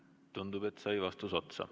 Tundub, et vastus sai otsa.